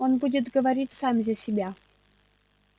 он будет говорить сам за себя